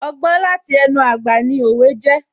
Ọgbọ́n láti ẹnu àgbà ni òwe jẹ́